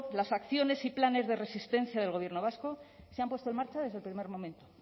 las acciones y planes de resistencia del gobierno vasco se han puesto en marcha desde el primer momento